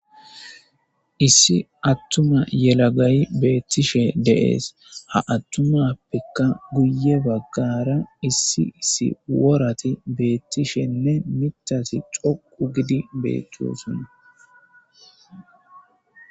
issi attuma yelagayi beettishe de7ees ha attumappekka guye baggara issi issi worati beettishenne michasi coqu gidi beettiyosun